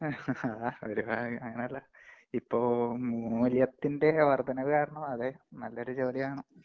ഹാ അതൊരു ഭാഗ്യം അങ്ങനെയല്ല ഇപ്പൊ മൂല്യത്തിന്‍റെ വര്‍ദ്ധനവ് കാരണം അതേ നല്ലൊരു ജോലി വേണം.